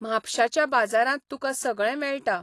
म्हापशाच्या बाजारांत तुका सगळें मेळटा.